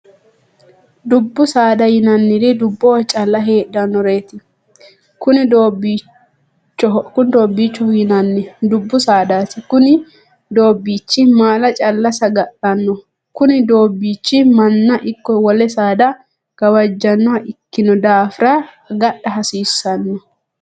Dubu saada yinnanniri duboho calla heedhanoreeti. kunni doobiichoho yinnanni dubu saadaati. Kunni doobichi maala calla saga'lano. Kunni doobichi manna ikko wole saada gawajanoha ikinno daafira agadha hasiisano.